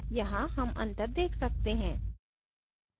यहाँ हम अंतर देख सकते हैं